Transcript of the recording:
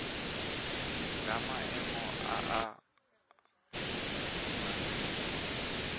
la maemo a a amogelesegang